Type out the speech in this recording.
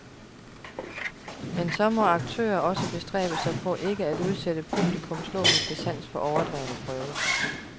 Men så må aktørerne også bestræbe sig på ikke at udsætte publikums logiske sans for overdrevne prøvelser.